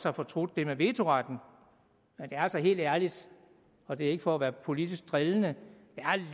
har fortrudt det med vetoretten men helt ærligt og det er ikke for at være politisk drillende